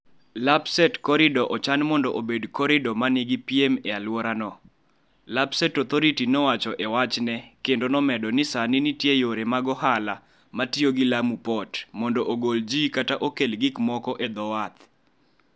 Lapsset Corridor ochan mondo obed koridoro ma nigi piem e alworano, Lapsset Authority nowacho e wachne, kendo nomedo ni sani nitie yore ma ohala ma tiyo gi Lamu Port mondo ogol ji kata okel gik moko e dho wath.